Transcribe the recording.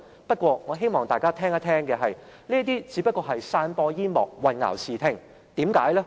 不過，我希望大家聽聽，這些只是散播煙幕、混淆視聽。